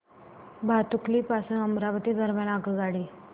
भातुकली पासून अमरावती दरम्यान आगगाडी